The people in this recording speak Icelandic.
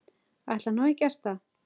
Ætli hann hafi gert það?